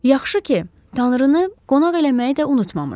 Yaxşı ki, tanrını qonaq eləməyi də unutmamış.